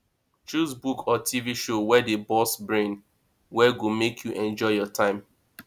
choose book or tv show wey dey burst brain wey go make you enjoy your time